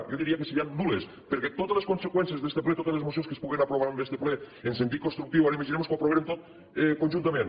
jo diria que serien nul·les perquè totes les conseqüències d’este ple totes les mocions que es puguen aprovar en este ple amb sentit constructiu ara imaginem nos que ho aprovàrem tot conjuntament